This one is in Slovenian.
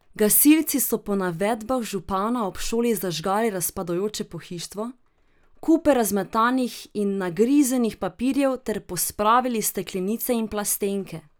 Gasilci so po navedbah župana ob šoli zažgali razpadajoče pohištvo, kupe razmetanih in nagrizenih papirjev ter pospravili steklenice in plastenke.